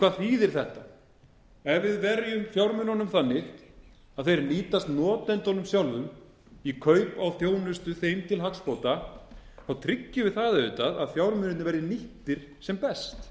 hvað þýðir þetta ef við verjum fjármununum þannig að þeir nýtast notendunum sjálfum í kaup á þjónustu þeim til hagsbóta þá tryggjum við það auðvitað að fjármunirnir verði nýttir sem best